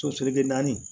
Sotigi bɛ naani